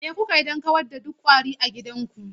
Me kuka yi don kawar da duk ƙwari a gidanku?